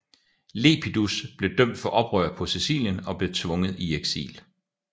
Lepidus blev dømt for oprør på Sicilien og blev tvunget i eksil